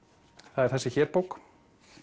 það er þessi hér bók